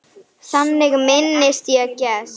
Þannig minnist ég Gests.